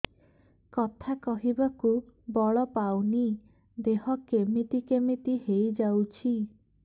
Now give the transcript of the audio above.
କଥା କହିବାକୁ ବଳ ପାଉନି ଦେହ କେମିତି କେମିତି ହେଇଯାଉଛି